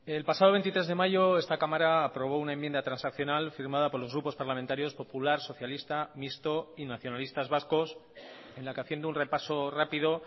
el pasado veintitrés de mayo esta cámara aprobó una enmienda transaccional firmada por los grupos parlamentarios popular socialista mixto y nacionalistas vascos en la que haciendo un repaso rápido